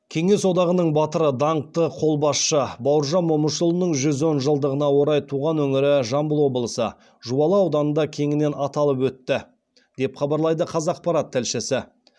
кеңес одағының батыры даңқты қолбасшы бауыржан момышұлының жүз он жылдығына орай туған өңірі жамбыл облысы жуалы ауданында кеңінен аталып өтті деп хабарлайды қазақпарат тілшісі